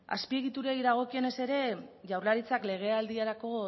azpiegiturei dagokienez ere jaurlaritzak legealdirako